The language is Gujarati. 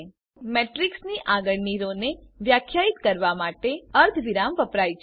નોંધ લો કે મેટ્રીક્સની આગળની રો ને વ્યાખ્યાયિત કરવા માટે અર્ધવિરામ વપરાય છે